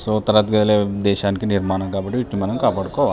So తరగతి గదులే దేశానికి నిర్మాణం కాబట్టి వీటిని మనం కాపాడుకోవాలి.